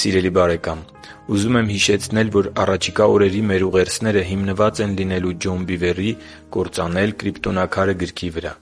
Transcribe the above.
Սիրելի՛ բարեկամ, ուզում եմ հիշեցնել, որ առաջիկա օրերի մեր ուղերձները հիմնված են լինելու Ջոն Բիվերի «Կործանել Կրիպտոնաքարը» գրքի վրա: